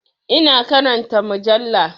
Ina karanta mujalla.